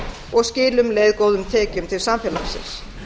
og skili um leið góðum tekjum til samfélagsins